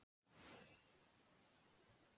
Lykst um mig í neyð.